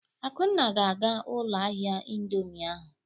Akunna ga-aga ụlọ ahịa indọmii ahụ.